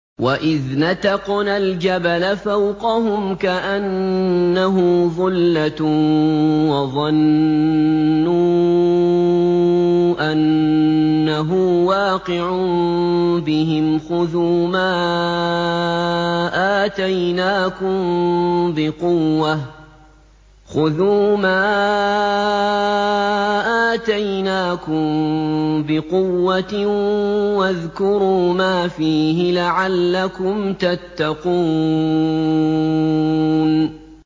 ۞ وَإِذْ نَتَقْنَا الْجَبَلَ فَوْقَهُمْ كَأَنَّهُ ظُلَّةٌ وَظَنُّوا أَنَّهُ وَاقِعٌ بِهِمْ خُذُوا مَا آتَيْنَاكُم بِقُوَّةٍ وَاذْكُرُوا مَا فِيهِ لَعَلَّكُمْ تَتَّقُونَ